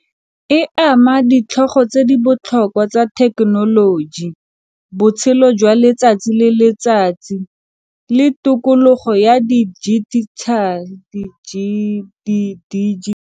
E ama ditlhogo tse di botlhokwa tsa thekenoloji, botshelo jwa letsatsi le letsatsi le tokologo ya .